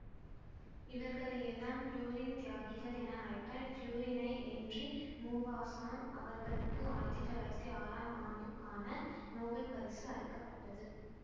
இவர்களையெல்லாம் புளோரின் தியாகிகள் என அழைப்பர்புளூரினைப் என்றி முவாசான் அவர்களுக்கு ஆயிரத்தி தொள்ளாயிரத்தி ஆறாம் அண்டுக்கான நோபல் பரிசு அளிக்க பட்டது